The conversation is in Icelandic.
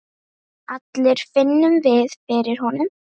allir finnum við fyrir honum.